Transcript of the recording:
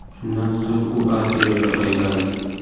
Shundan so‘ng u A Seriyaga qaytadi.